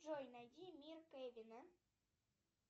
джой найди мир кевина